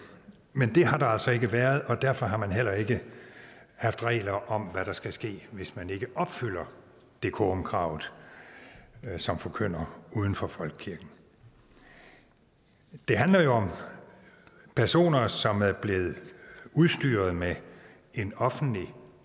men det har der altså ikke været og derfor har man heller ikke haft regler om hvad der skal ske hvis man ikke opfylder decorumkravet som forkynder uden for folkekirken det handler jo om personer som er blevet udstyret med en offentlig